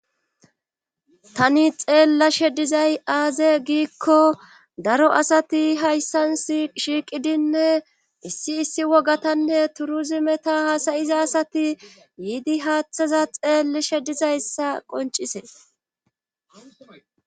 tani xeellashe dizay aaze giikko daro asati hayssan shiiqidinne issi issi wogatanne turuzimeta haasayiza asati yiidi haaththaza xeelleshe dizayssa qoncisees